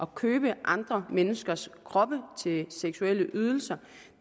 købe andre menneskers kroppe til seksuelle ydelser